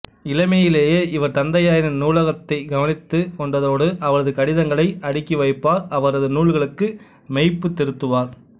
இளமையிலேயே இவர் தந்தையாரின் நூலகத்திக் கவனிதுக் கொண்டதோடு அவரது கடிதங்களை அடுக்கிவைப்பார் அவரதுநூல்களுக்கு மெய்ப்பு திருத்துவார்